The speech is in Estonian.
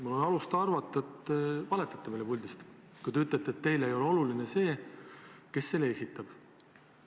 Mul on alust arvata, et te valetate meile puldist, kui te ütlete, et teile ei ole oluline see, kes esitab.